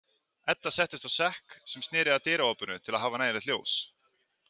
Edda settist á sekk sem sneri að dyraopinu til að hafa nægilegt ljós.